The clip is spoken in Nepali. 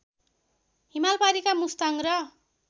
हिमालपारिका मुस्ताङ र